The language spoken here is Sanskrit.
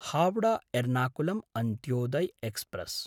हावडा–एर्नाकुलं अन्त्योदय एक्स्प्रेस्